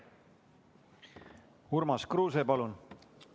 Urmas Kruuse, palun!